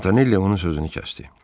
Montanelli onun sözünü kəsdi.